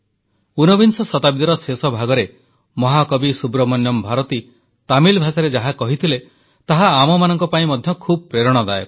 ଊନବିଂଶ ଶତାବ୍ଦୀର ଶେଷ ଭାଗରେ ମହାକବି ସୁବ୍ରମଣ୍ୟମ୍ ଭାରତୀ ତାମିଲ ଭାଷାରେ ଯାହା କହିଥିଲେ ତାହା ଆମମାନଙ୍କ ପାଇଁ ମଧ୍ୟ ଖୁବ୍ ପ୍ରେରଣାଦାୟକ